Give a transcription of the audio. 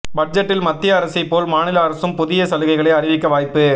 பட்ஜெட்டில் மத்திய அரசை போல் மாநில அரசும் புதிய சலுகைகளை அறிவிக்க வாய்ப்பு